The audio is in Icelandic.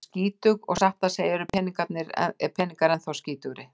Hún er skítug og satt að segja eru peningar ennþá skítugri.